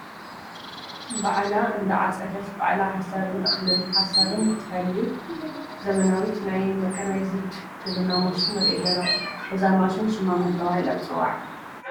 ባዕላ እንዳዓፀደት ባዕላ ሓሰርን እኽልን ሓሰርን ትፈሊ ዘመናዊት ናይ መካናይዝድ ግብርና ማሽን ንርኢ ኣለና፡፡ እዛ ማሽን ሽማ መን ተባሂላ ትፅዋዕ?